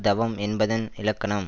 தவம் என்பதன் இலக்கணம்